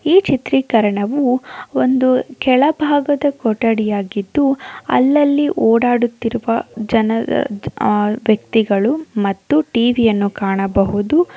ಈ ಚಿತ್ರೀಕರಣವು ಒಂದು ಕೆಲಬಾಗದ ಕೊಟ್ಟಡಿಯಾಗಿದು ಅಲ್ಲಲ್ಲಿ ಓಡಾಡುವ ಜನರು ಅಹ್ ವ್ಯಕ್ತಿಗಳು ಮತ್ತು ಟಿವಿ ಅನ್ನು ಕಾಣಬಹುದು.